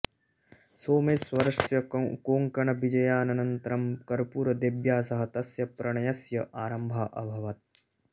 सोमेश्वरस्य कोङ्कणविजयानन्तरं कर्पूरदेव्या सह तस्य प्रणयस्य आरम्भः अभवत्